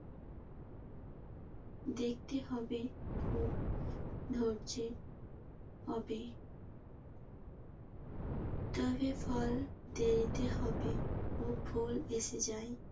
দেখতে হবে খুব ধরছে। হবে তবে ফল দেরিতে হবে। ফুল এসে যায়।